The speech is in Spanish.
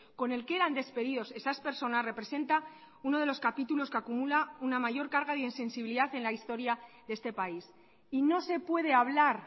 con el que eran despedidos esas personas representa uno de los capítulos que acumula una mayor carga de insensibilidad en la historia de este país y no se puede hablar